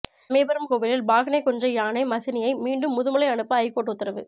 சமயபுரம் கோவிலில் பாகனை கொன்ற யானை மசினியை மீண்டும் முதுமலை அனுப்ப ஐகோர்ட் உத்தரவு